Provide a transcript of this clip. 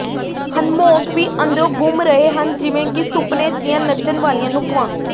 hammock ਵੀ ਅੰਦਰੋਂ ਘੁੰਮ ਰਹੇ ਹਨ ਜਿਵੇਂ ਕਿ ਸੁਪਨੇ ਦੀਆਂ ਨੱਚਣ ਵਾਲੀਆਂ ਨੁੱਕਵਾਂ